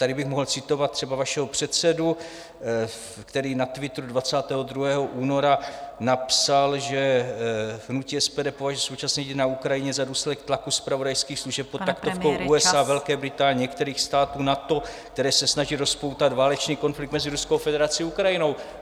Tady bych mohl citovat třeba vašeho předsedu, který na Twitteru 22. února napsal, že hnutí SPD považuje současné dění na Ukrajině za důsledek tlaku zpravodajských služeb pod taktovkou USA, Velké Británie, některých států NATO, které se snaží rozpoutat válečný konflikt mezi Ruskou federací a Ukrajinou.